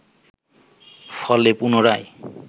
ফলে পুনরায়